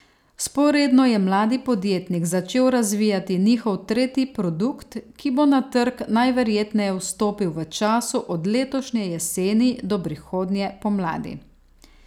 Vzporedno je mladi podjetnik začel razvijati njihov tretji produkt, ki bo na trg najverjetneje vstopil v času od letošnje jeseni do prihodnje pomladi.